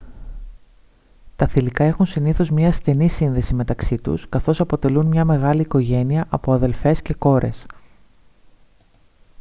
τα θηλυκά έχουν συνήθως μια στενή σύνδεση μεταξύ τους καθώς αποτελούν μια μεγάλη οικογένεια από αδερφές και κόρες